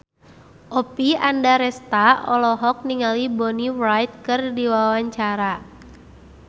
Oppie Andaresta olohok ningali Bonnie Wright keur diwawancara